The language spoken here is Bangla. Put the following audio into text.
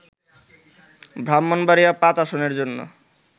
ব্রাহ্মণবাড়িয়া-৫ আসনের জন্য